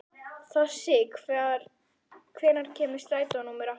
Þossi, hvenær kemur strætó númer átta?